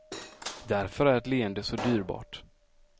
Därför är ett leende så dyrbart.